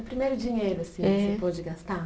O primeiro dinheiro assim que você pôde gastar?